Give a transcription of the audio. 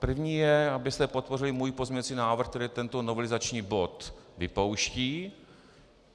První je, abyste podpořili můj pozměňovací návrh, který tento novelizační bod vypouští.